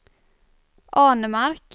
Arnemark